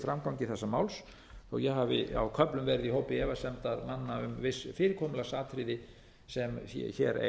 framgangi þessa máls þó að ég hafi á köflum verið í hópi efasemdarmanna um viss fyrirkomulagsatriði sem hér eiga